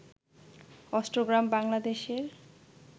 অষ্টগ্রাম বাংলাদেশের